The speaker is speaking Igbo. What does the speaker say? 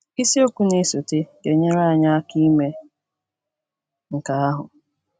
Isiokwu na - esote ga - enyere anyị aka ime nke ahụ.